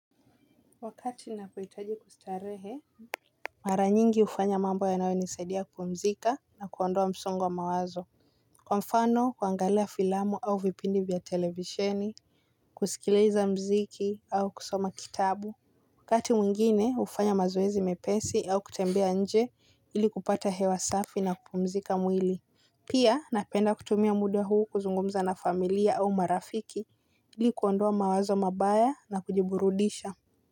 Wakati ninapohitaji kustarehe mara nyingi ufanya mambo yanayo nisaidia kupumzika na kuondoa msongo mawazo. Kwa mfano kuangalia filamu au vipindi vya televisheni kusikiliza mziki au kusoma kitabu. Wakati mwingine ufanya mazoezi mepesi au kutembea nje ili kupata hewa safi na kupumzika mwili. Pia napenda kutumia muda huu kuzungumza na familia au marafiki ili kuondoa mawazo mabaya na kujiburudisha.